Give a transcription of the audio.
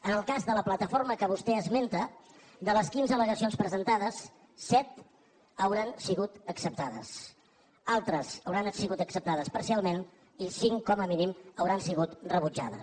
en el cas de la plataforma que vostè esmenta de les quinze al·legacions presentades set hauran sigut acceptades altres hauran sigut acceptades parcialment i cinc com a mínim hauran sigut rebutjades